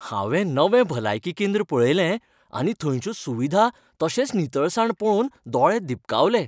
हांवें नवें भलायकी केंद्र पळयलें आनी थंयच्यो सुविधा तशेंच नितळसाण पळोवन दोळे दिपकावले.